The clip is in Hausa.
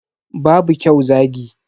Babu kyau zagi.